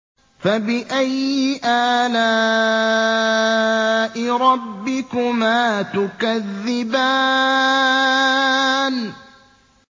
فَبِأَيِّ آلَاءِ رَبِّكُمَا تُكَذِّبَانِ